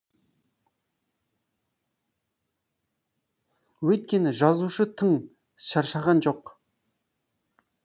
өйткені жазушы тың шаршаған жоқ